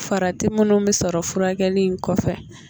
Farati minnu mi sɔrɔ furakɛli in kɔfɛ